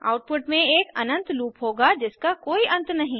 output में एक अनंत लूप होगा जिसका कोई अंत नहीं